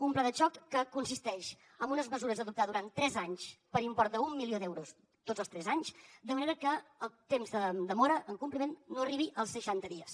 un pla de xoc que consisteix en unes mesures a adoptar durant tres anys per import d’un milió d’euros tots els tres anys de manera que el temps de demora en compliment no arribi als seixanta dies